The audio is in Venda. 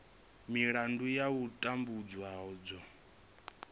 milandu ya u tambudzwa dzo